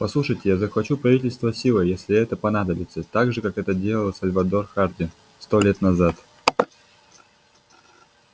послушайте я захвачу правительство силой если это понадобится так же как это делал сальвор хардин сто лет назад